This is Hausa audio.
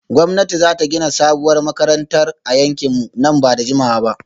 Gwamnati za ta gina sabuwar makarantar a yankinmu nan ba da jimawa ba